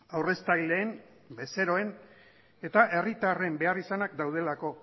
aurreztaileen bezeroen eta herritarren beharrizanak daudelako